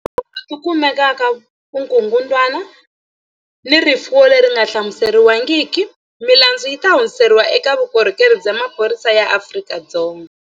Laha tindzawulo ti kumaka vukungundwani ni rifuwo leri nga hlamuseriwangiki, milandzu yi ta hundziseriwa eka Vukorhokeri bya Maphorisa ya Afrika-Dzonga.